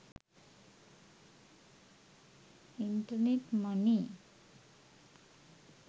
internet money